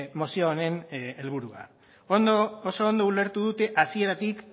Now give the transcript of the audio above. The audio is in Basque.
mozio honen helburua oso ondo ulertu dute hasieratik